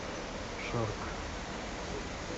шарк